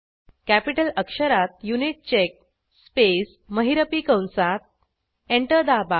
capital अक्षरात युनिटचेक space महिरपी कंसात एंटर दाबा